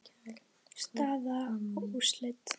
Staða og úrslit.